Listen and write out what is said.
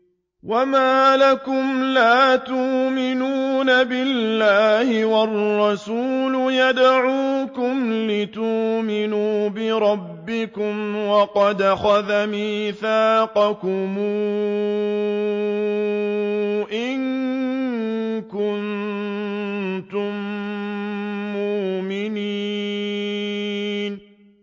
وَمَا لَكُمْ لَا تُؤْمِنُونَ بِاللَّهِ ۙ وَالرَّسُولُ يَدْعُوكُمْ لِتُؤْمِنُوا بِرَبِّكُمْ وَقَدْ أَخَذَ مِيثَاقَكُمْ إِن كُنتُم مُّؤْمِنِينَ